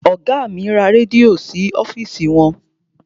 Ọgá mi ra rẹ́díò sí ọ́fìsì wọn.